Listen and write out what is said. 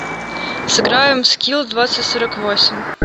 сыграем в скил двадцать сорок восемь